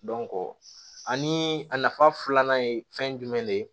ani a nafa filanan ye fɛn jumɛn de ye